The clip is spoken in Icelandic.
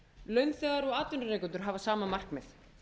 launþegar og atvinnurekendur hafa sama markmið